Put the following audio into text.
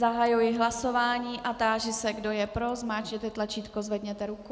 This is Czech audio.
Zahajuji hlasování a táži se, kdo je pro, zmáčkněte tlačítko, zvedněte ruku.